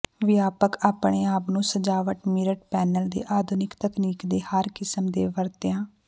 ਵਿਆਪਕ ਆਪਣੇ ਆਪ ਨੂੰ ਸਜਾਵਟ ਮਿਰਰਡ ਪੈਨਲ ਦੇ ਆਧੁਨਿਕ ਤਕਨੀਕ ਦੇ ਹਰ ਕਿਸਮ ਦੇ ਵਰਤਿਆ